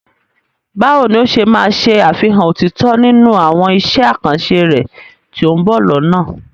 Báwo ni o ṣe máa ṣe àfihàn òtítọ́ nínú àwọn iṣẹ́ àkànṣe rẹ tí ó ń bọ̀ lọ́nà?